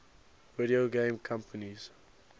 video game companies